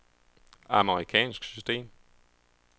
amerikansk system